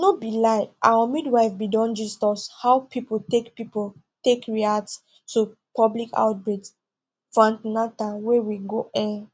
no be lie our midwife bin don gist us how people take people take react to public outbreak for an ten al wey we go um